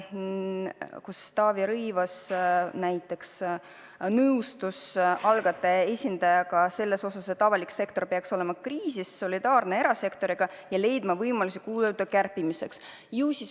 Näiteks Taavi Rõivas nõustus algataja esindajaga selles osas, et avalik sektor peaks kriisiajal olema solidaarne erasektoriga ja leidma võimalusi kulude kärpimiseks.